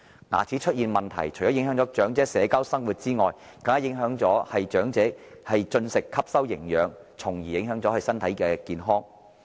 牙齒出現問題，除影響長者社交生活外，更會影響長者進食、吸收營養，繼而影響身體健康。